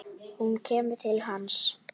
Hún kemur til hans.